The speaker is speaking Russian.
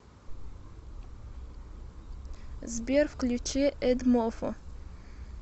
сбер включи эдмофо